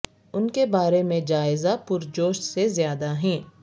ان کے بارے میں جائزہ پرجوش سے زیادہ ہیں